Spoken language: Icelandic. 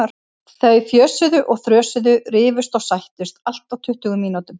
Þau fjösuðu og þrösuðu, rifust og sættust, allt á tuttugu mínútum.